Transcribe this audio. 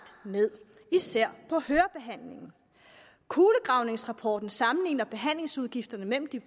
ned især på hørebehandlingen kulegravningsrapporten sammenligner behandlingsudgifterne mellem de